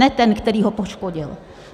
Ne ten, který ho poškodil.